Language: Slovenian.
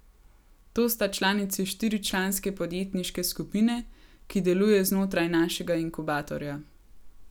To sta članici štiri članske podjetniške skupine, ki deluje znotraj našega inkubatorja.